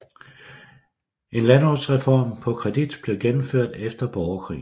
En landbrugsreform på kredit blev gennemført efter borgerkrigen